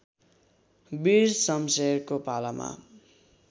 वीर शमशेरको पालामा